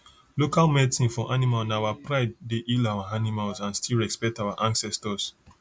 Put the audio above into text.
local medicine for animal na our pridee dey heal our animals and still respect our ancestors